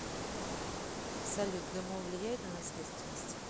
салют гмо влияет на наследственность